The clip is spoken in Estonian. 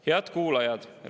Head kuulajad!